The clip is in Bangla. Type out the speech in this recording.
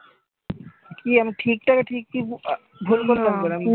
কি আমি ঠিকটা কে ঠিক কি ভুল করে বলবো নাকি?